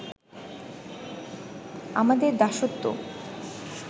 আমাদের দাসত্ব